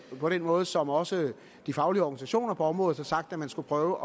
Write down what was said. på den måde som også de faglige organisationer på området har sagt at man skulle prøve